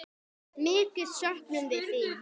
Mikið söknum við þín.